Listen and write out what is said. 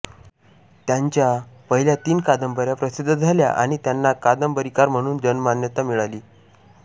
त्यांच्या पहिल्या तीन कादंबऱ्या प्रसिद्ध झाल्या आणि त्यांना कादंबरीकार म्हणून जनमान्यता मिळाली